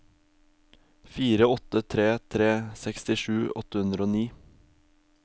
fire åtte tre tre sekstisju åtte hundre og ni